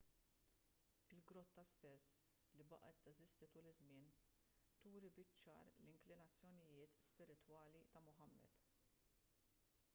il-grotta stess li baqgħet teżisti tul iż-żmien turi biċ-ċar l-inklinazzjonijiet spiritwali ta' muhammad